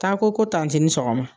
Taa ko ko tanti ni sɔgɔma